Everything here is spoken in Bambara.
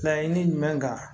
Laɲini jumɛn kan